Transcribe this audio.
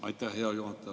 Aitäh, hea juhataja!